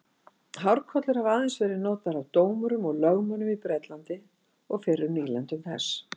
Hárkollur hafa aðeins verið notaðar af dómurum og lögmönnum í Bretlandi og fyrrum nýlendum þess.